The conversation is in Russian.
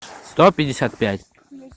сто пятьдесят пять